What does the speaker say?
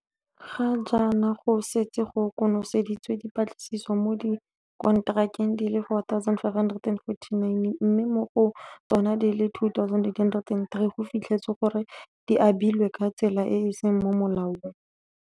Ga jaana go setse go konoseditswe dipatlisiso mo dikonterakeng di le 4 549, mme mo go tsona di le 2 803 go fitlhetswe gore di abilwe ka tsela e e seng mo molaong.